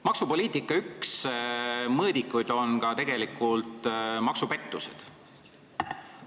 Maksupoliitika üks mõõdikuid on tegelikult ka maksupettused.